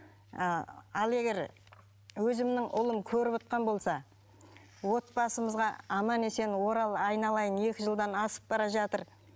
ы ал егер өзімнің ұлым көрівотқан болса отбасымызға аман есен орал айналайын екі жылдан асып бара жатыр